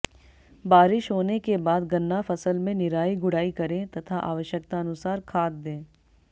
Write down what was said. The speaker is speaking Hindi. बारिश होने के बाद गन्ना फसल में निराई गुड़ाई करें तथा आवश्यकतानुसार खाद दें